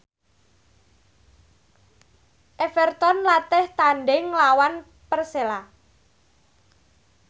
Everton latih tandhing nglawan Persela